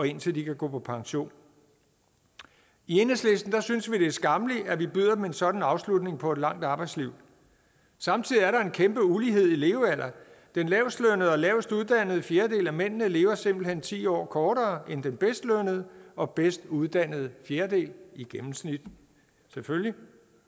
indtil de kan gå på pension i enhedslisten synes vi det er skammeligt at vi byder dem en sådan afslutning på et langt arbejdsliv samtidig er der en kæmpe ulighed i levealder den lavestlønnede og lavest uddannede fjerdedel af mændene lever simpelt hen ti år kortere end den bedst lønnede og bedst uddannede fjerdedel i gennemsnit selvfølgelig